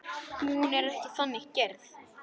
Hún er ekki þannig gerð.